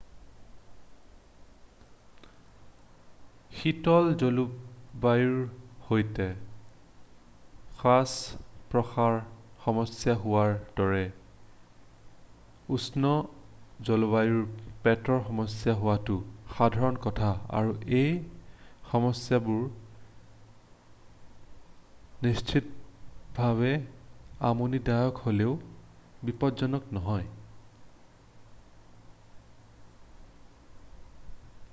শীতল জলবায়ুৰ সৈতে শ্বাস-প্ৰশ্বাসৰ সমস্যা হোৱাৰ দৰে উষ্ণ জলবায়ুত পেটৰ সমস্যা হোৱাটো সাধাৰণ কথা আৰু এই সমস্যাবোৰ নিশ্চিতভাৱে আমনিদায়ক হ'লেও বিপজ্জনক নহয়